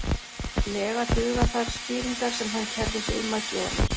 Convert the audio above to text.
lega duga þær skýringar sem hann kærði sig um að gefa mér.